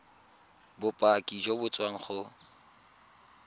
bopaki jo bo tswang go